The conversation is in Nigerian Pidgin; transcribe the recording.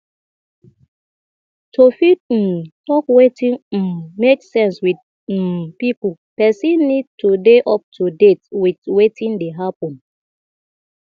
to fit um talk wetin um make sense with um pipo person need to dey up to date with wetin dey happen